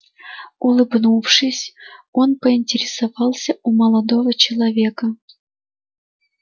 улыбнувшись он поинтересовался у молодого человека